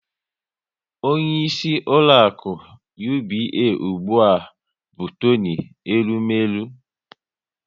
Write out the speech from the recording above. Onyeisi ụlọaku UBA ụgbụa bụ Toni Elumelu